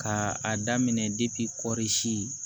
Ka a daminɛ kɔɔri si